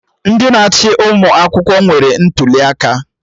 Ndị na-achị ụmụ akwụkwọ nwere ntụli aka